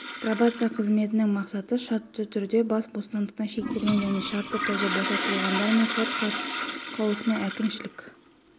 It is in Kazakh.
пробация қызметінің мақсаты шартты түрде бас бостандығы шектелген және шартты түрде босатылғандар мен сот қаулысымен әкімшілік